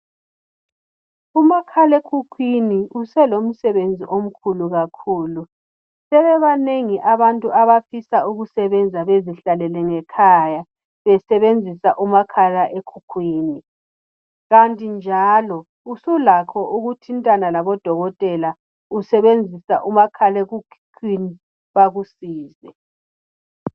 Umakhalekhukhwini uselomsebenzi omkhulu kakhulu. Sebebanengi abantu abafisa ukusebenza bezihlalele ngekhaya. Besebenzisa umakhalekhukhwini. Kanti njalo, usulakho ukuthintana labodokotela, usebenzisa umakhalekhukhwini, bakusize.